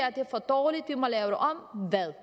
er for dårligt vi må lave det om